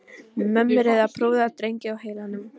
Mömmur eru með prúða drengi á heilanum.